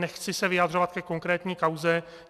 Nechci se vyjadřovat ke konkrétní kauze.